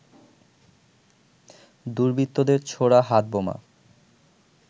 দুর্বৃত্তদের ছোড়া হাতবোমা